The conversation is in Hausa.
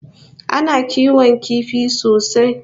Ana kiwon kifi sosai